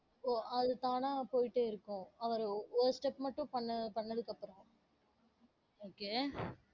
ஓ அது தானா போயிட்டே இருக்கும். அவரு ஒரு step மட்டும் பண்ண~ பண்ணதுக்கு அப்பறம் okay